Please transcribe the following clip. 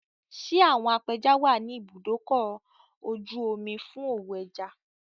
Ṣé àwọn apẹja wà ní ibùdókò-oju-omi fú òwò ẹja?